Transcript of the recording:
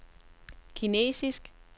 kinesisk